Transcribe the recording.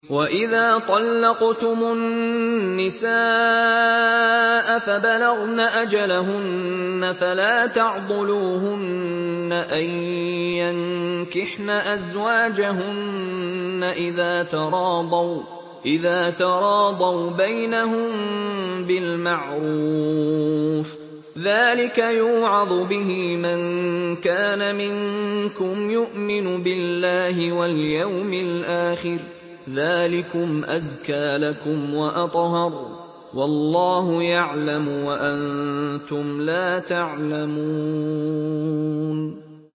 وَإِذَا طَلَّقْتُمُ النِّسَاءَ فَبَلَغْنَ أَجَلَهُنَّ فَلَا تَعْضُلُوهُنَّ أَن يَنكِحْنَ أَزْوَاجَهُنَّ إِذَا تَرَاضَوْا بَيْنَهُم بِالْمَعْرُوفِ ۗ ذَٰلِكَ يُوعَظُ بِهِ مَن كَانَ مِنكُمْ يُؤْمِنُ بِاللَّهِ وَالْيَوْمِ الْآخِرِ ۗ ذَٰلِكُمْ أَزْكَىٰ لَكُمْ وَأَطْهَرُ ۗ وَاللَّهُ يَعْلَمُ وَأَنتُمْ لَا تَعْلَمُونَ